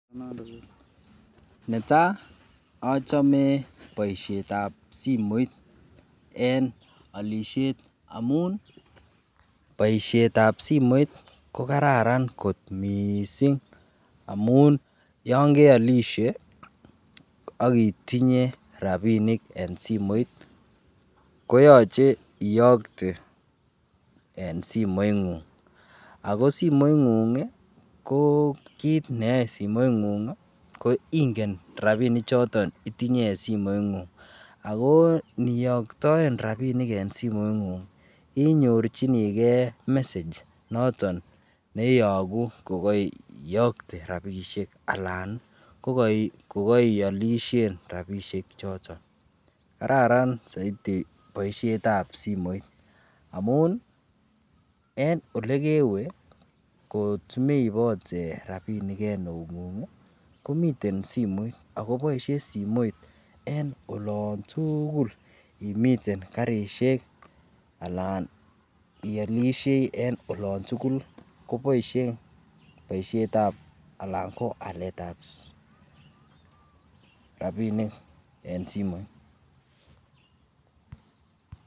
netai ocheme boisheet ab simeert en ollishet omuuun, boisheet ab simeert kogararan koot misiing yon geolishe ak itinye rabinik en simoit koyoche iyokte en simoiit nguung, ago simoit nguung iih koo kiit neyoe simoit nguung iih ko ingen rabinik choton itinye en simoit nguung, ago niyoktoen rabinik en simoit nguung inyorchinigee message noton neiyoguu yoton kogoiyokte rabishek alaan iih kogoiolishen rabinik choton, kararan boishet ab simoit amuun iih en olegewe komeibote rabinik en euun; ngung iih komiten somoit ago boishe simoit en olontuguul imiten karisheek alaan iomishei en olontugul koboishe boishet ab alaan ko aleet ab rabinik en simoit.